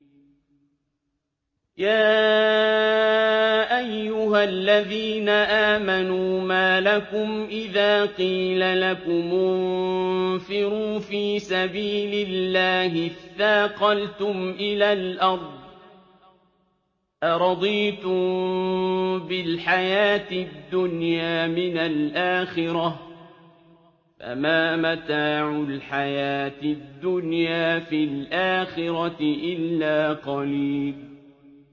يَا أَيُّهَا الَّذِينَ آمَنُوا مَا لَكُمْ إِذَا قِيلَ لَكُمُ انفِرُوا فِي سَبِيلِ اللَّهِ اثَّاقَلْتُمْ إِلَى الْأَرْضِ ۚ أَرَضِيتُم بِالْحَيَاةِ الدُّنْيَا مِنَ الْآخِرَةِ ۚ فَمَا مَتَاعُ الْحَيَاةِ الدُّنْيَا فِي الْآخِرَةِ إِلَّا قَلِيلٌ